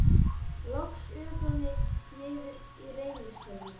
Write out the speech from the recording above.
Loks ökum við niður í Reynishverfi.